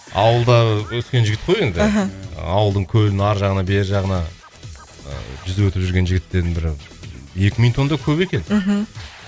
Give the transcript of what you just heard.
ауылда ы өскен жігіт қой енді аха ауылдың көлін ар жағына бер жағына ыыы жүзіп өтіп жүрген жігіттердің бірі екі минут онда көп екен мхм